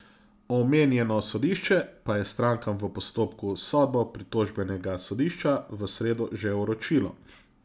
Omenjeno sodišče pa je strankam v postopku sodbo pritožbenega sodišča v sredo že vročilo.